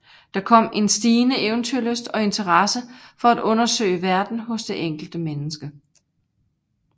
Der kom en stigende eventyrlyst og interesse for at undersøge verden hos det enkelte menneske